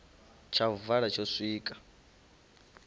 tsha u vala tsho swika